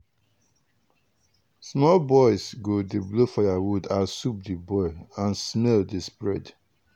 small boys go dey blow firewood as soup dey boil and smell dey spread.